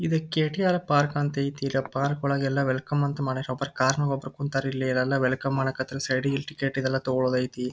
Eid KTR. Park ಅಂತ ಐತಿ ಇಲ್ಲಿ ಪಾರ್ಕ್ ಒಳಗ್ ಎಲ್ಲಾ ವೆಲ್ಕಮ್ ಅಂತ ಮಾಡರ್ ಒಬ್ರ ಒಬ್ರು ಕುಂತರ್ ಇಲ್ಲಿ ಇಲ್ಲೆಲ್ಲಾ ವೆಲ್ಕಮ್ ಮಾಡ್ ಕತ್ತರ್ ಸೈಡಿಗಿಲ್ಲಿ ಟಿಕೆಟ್ ಇದೆಲ್ಲಾ ತಕೊಳೋದೈತಿ.